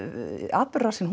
atburðarásin